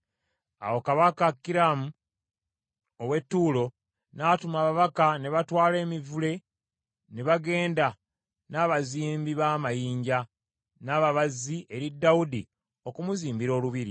Awo kabaka Kiramu ow’e Ttuulo n’atuma ababaka ne batwala emivule, ne bagenda, n’abazimbi b’amayinja, n’ababazzi eri Dawudi okumuzimbira olubiri.